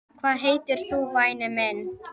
Hvað heitir þú væni minn?